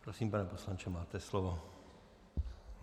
Prosím, pane poslanče, máte slovo.